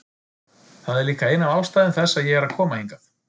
Það er líka ein af ástæðum þess að ég er að koma hingað.